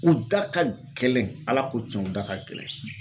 U da ka gɛlɛn Ala ko cɛn u da ka gɛlɛn.